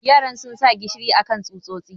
yaran sun sa gishiri akan tsutsotsin.